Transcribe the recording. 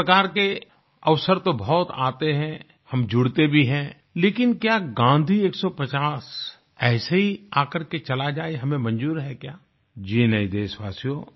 इस प्रकार के अवसर तो बहुत आते हैं हम जुड़ते भी हैं लेकिन क्या गाँधी 150 ऐसे ही आकर के चला जाये हमें मंजूर है क्या जी नहीं देशवासियो